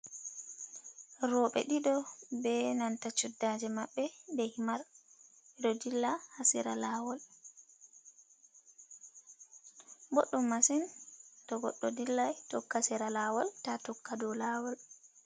Rooɓe ɗiɗo be nanta chuddaaje maɓɓe, be himar, ɓe ɗo dilla ha sera laawol. Boɗɗum masin to goɗɗo dillai tokka sera laawol taa tokka dow laawol.